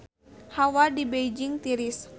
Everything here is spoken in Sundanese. Hawa di Beijing tiris